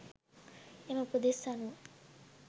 එම උපදෙස් අනුව